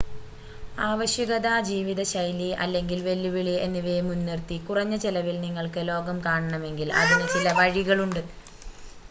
ആവശ്യകത ജീവിതശൈലി അല്ലെങ്കിൽ വെല്ലുവിളി എന്നിവയെ മുൻനിർത്തി കുറഞ്ഞ ചെലവിൽ നിങ്ങൾക്ക് ലോകം കാണണമെങ്കിൽ അതിന് ചില വഴികളുണ്ട്